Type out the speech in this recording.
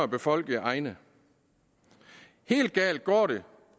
befolkede egne helt galt går det